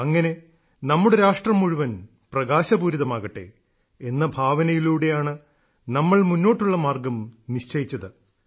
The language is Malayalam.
അങ്ങനെ നമ്മുടെ രാഷ്ട്രം മുഴുവൻ പ്രകാശപൂരിതമാകട്ടെ എന്ന ഭാവനയിലൂടെയാണ് നമ്മൾ മുന്നോട്ടുള്ള മാർഗ്ഗം നിശ്ചയിച്ചത്